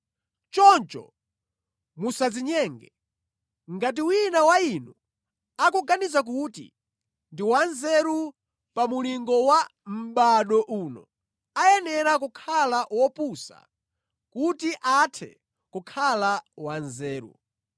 Choncho musadzinyenge. Ngati wina wa inu akuganiza kuti ndi wanzeru pa mulingo wa mʼbado uno, ayenera kukhala “wopusa” kuti athe kukhala wanzeru.